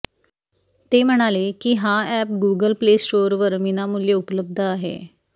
ते म्हणाले की हा अॅप गूगल प्ले स्टोरवर विनामूल्य उपलब्ध आहे